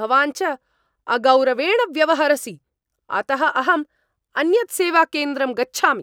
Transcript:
भवान् च अगौरवेण व्यवहरसि, अतः अहम् अन्यत् सेवाकेन्द्रं गच्छामि।